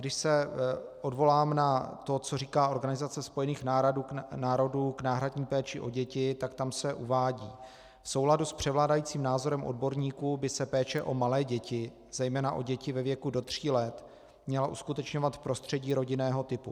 Když se odvolám na to, co říká Organizace spojených národů k náhradní péči o děti, tak tam se uvádí: "V souladu s převládajícím názorem odborníků by se péče o malé děti, zejména o děti ve věku do tří let, měla uskutečňovat v prostředí rodinného typu.